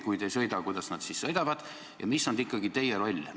Kui teie ei sõida, kuidas nemad siis sõidavad, ja mis on ikkagi teie roll?